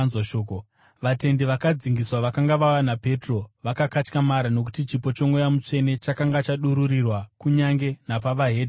Vatendi vakadzingiswa vakanga vauya naPetro vakakatyamara nokuti chipo choMweya Mutsvene chakanga chadururirwa kunyange napamusoro pevedzimwe ndudziwo.